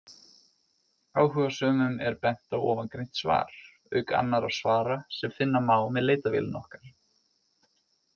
Áhugasömum er bent á ofangreint svar, auk annarra svara sem finna má með leitarvélinni okkar.